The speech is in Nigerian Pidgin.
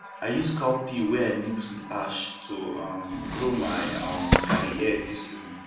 i use cow pee wey i mix with ash to um grow my um garden egg this season